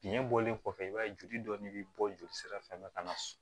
Biɲɛ bɔlen kɔfɛ i b'a ye joli dɔɔni be bɔ jolisira fɛ ka na so